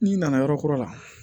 N'i nana yɔrɔ kɔrɔ la